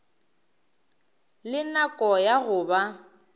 le nako ya go ba